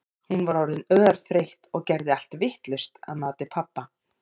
Hún var orðin örþreytt og gerði allt vitlaust að mati pabba.